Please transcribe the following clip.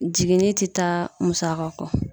Jiginni te taa musaka kɔ.